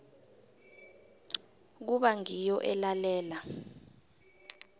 kuba ngiyo elalela